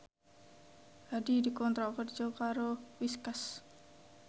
Hadi dikontrak kerja karo Whiskas